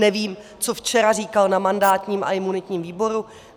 Nevím, co včera říkal na mandátním a imunitním výboru.